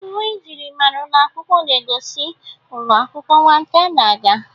Uwe myịrịmara ụlọ akwụkwọ na-egosi ụlọ akwụkwọ nwata n'aga.